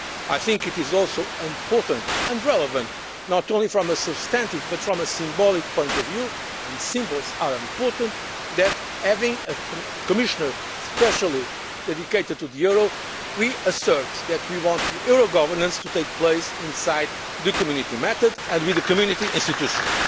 I think it is also important and relevant, not only from a substantive but also from a symbolic point of view and symbols are important that by having a Commissioner especially dedicated to the euro we assert that we want euro governance to take place within the Community method, and with the Community institutions.